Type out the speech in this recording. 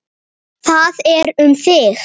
Það er um þig.